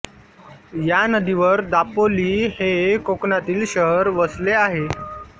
या नदीवर दापोली हे कोकणातील शहर वसले आहे